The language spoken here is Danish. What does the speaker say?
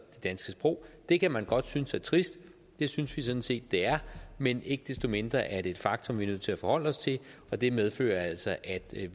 det danske sprog det kan man godt synes er trist det synes vi sådan set det er men ikke desto mindre er det et faktum vi er nødt til at forholde os til og det medfører altså at